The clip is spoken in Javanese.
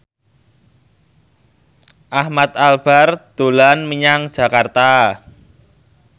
Ahmad Albar dolan menyang Jakarta